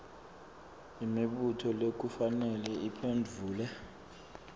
imibuto lekufanele iphendvulwe